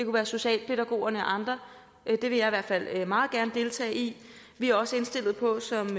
være socialpædagogerne og andre det vil jeg i hvert fald meget gerne deltage i vi er også indstillet på som